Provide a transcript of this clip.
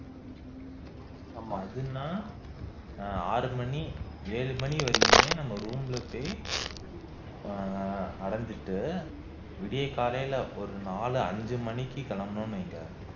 ஆமா அதுன்னா ஆஹ் ஆறு மணி ஏழு மணி வரைக்குமே நம்ம ரூம் ல போய் ஆஹ் அடைஞ்சிட்டு விடியற்காலையில ஒரு நாலு அஞ்சு மணிக்கு கிளம்பினோம்னு வைங்க